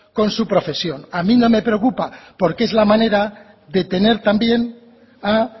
con su profesión a mí no me preocupa porque es la manera de tener también a